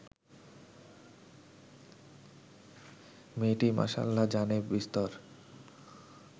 মেয়েটি মাসাল্লা জানে বিস্তর